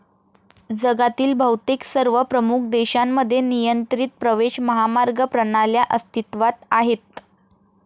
जगातील बहुतेक सर्व प्रमुख देशांमध्ये नियंत्रित प्रवेश महामार्ग प्रणाल्या अस्तित्वात आहेत.